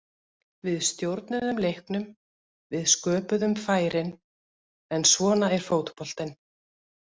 Við stjórnuðum leiknum, við sköpuðum færin, en svona er fótboltinn.